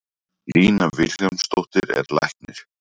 Lína Vilhjálmsdóttir er læknir.